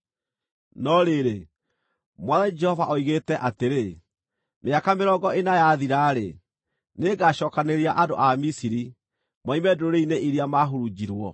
“ ‘No rĩrĩ, Mwathani Jehova oigĩte atĩrĩ: Mĩaka mĩrongo ĩna yathira-rĩ, nĩngacookanĩrĩria andũ a Misiri moime ndũrĩrĩ-inĩ iria maahurunjirwo.